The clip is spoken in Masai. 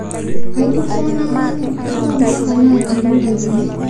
Kaituko nangan kumo mpaka naatiru nkaina